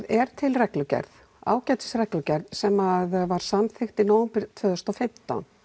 er til reglugerð ágætis reglugerð sem var samþykkt í nóvember tvö þúsund og fimmtán